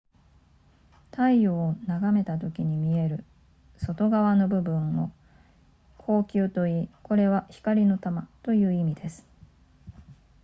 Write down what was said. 太陽を眺めたときに見える外側の部分を光球といいこれは光の玉という意味です